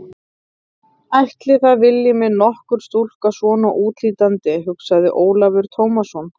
Ætli það vilji mig nokkur stúlka svona útlítandi, hugsaði Ólafur Tómasson.